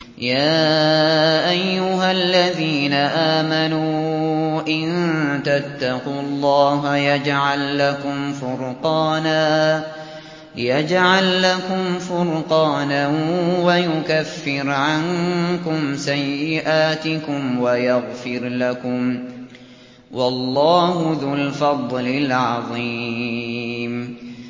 يَا أَيُّهَا الَّذِينَ آمَنُوا إِن تَتَّقُوا اللَّهَ يَجْعَل لَّكُمْ فُرْقَانًا وَيُكَفِّرْ عَنكُمْ سَيِّئَاتِكُمْ وَيَغْفِرْ لَكُمْ ۗ وَاللَّهُ ذُو الْفَضْلِ الْعَظِيمِ